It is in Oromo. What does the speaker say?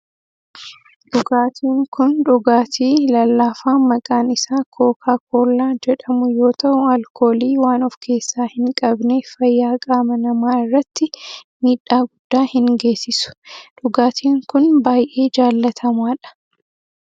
Dhugaatiin kun dhugaatii lallaafaa maqaan isaa kookaa koollaa jedhamu yoo ta'u alkoolii waan of keessaa hin qabneef fayyaa qaama namaa irratti miidhaa guddaa hin geessisu. Dhugaatin kun baayyee jaalatamaa dha.